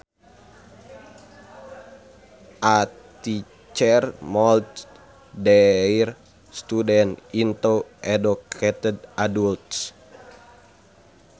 A teacher molds their students into educated adults